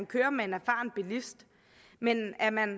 kører med en erfaren bilist men er man